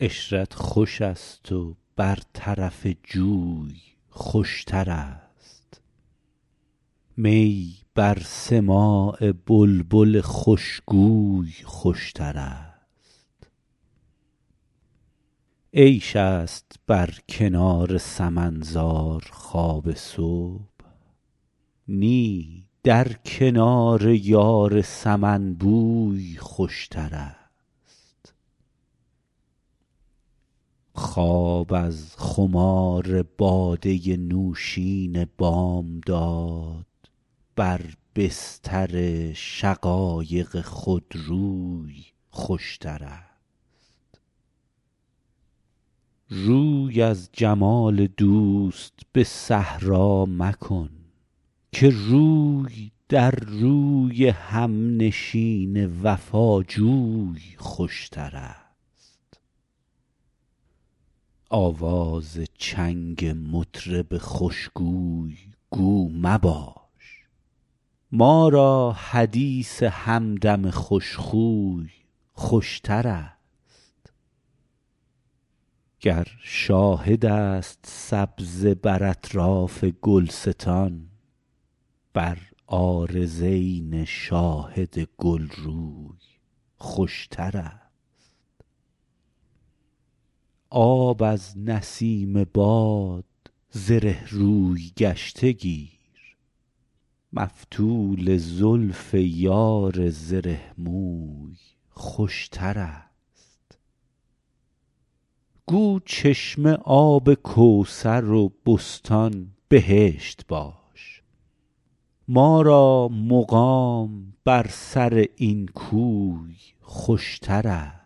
عشرت خوش است و بر طرف جوی خوشترست می بر سماع بلبل خوشگوی خوشترست عیش است بر کنار سمن زار خواب صبح نی در کنار یار سمن بوی خوشترست خواب از خمار باده نوشین بامداد بر بستر شقایق خودروی خوشترست روی از جمال دوست به صحرا مکن که روی در روی همنشین وفاجوی خوشترست آواز چنگ مطرب خوشگوی گو مباش ما را حدیث همدم خوشخوی خوشترست گر شاهد است سبزه بر اطراف گلستان بر عارضین شاهد گلروی خوشترست آب از نسیم باد زره روی گشته گیر مفتول زلف یار زره موی خوشترست گو چشمه آب کوثر و بستان بهشت باش ما را مقام بر سر این کوی خوشترست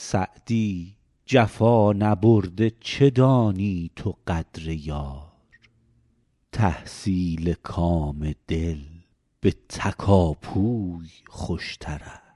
سعدی جفا نبرده چه دانی تو قدر یار تحصیل کام دل به تکاپوی خوشترست